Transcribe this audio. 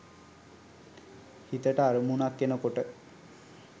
හිතට අරමුණක් එන කොට